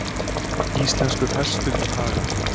Íslenskur hestur í haga.